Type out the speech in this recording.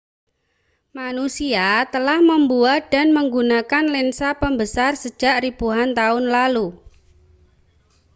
manusia telah membuat dan menggunakan lensa pembesar sejak ribuan tahun lalu